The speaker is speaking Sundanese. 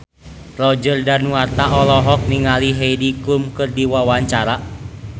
Roger Danuarta olohok ningali Heidi Klum keur diwawancara